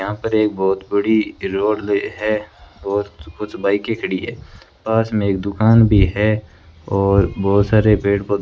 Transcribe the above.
यहां पर एक बहुत बड़ी रोड ले है बहुत कुछ बाईकें खड़ी है पास में एक दुकान भी है और बहुत सारे पेड़ पौ--